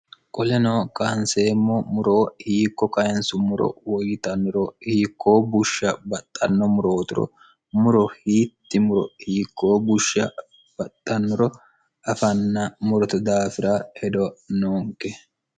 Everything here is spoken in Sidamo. qoleno kaanseemmo muroo hiikko kayinsumoro woyyitanno yinummoro hiikkoo bushsha baxxanno murooturo muro hiitti muro hiikkoo bushsha baxxannoro afanna muroto daafira hedo noonke